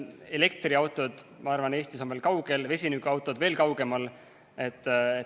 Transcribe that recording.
Elektriautod, ma arvan, on Eesti mõttes veel kaugel, vesinikuautod veel kaugemal.